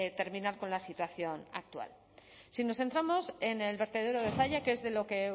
terminar con la situación actual si nos centramos en el vertedero de zalla que es de lo que